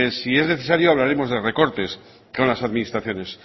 si es necesario hablaremos de recortes con las administraciones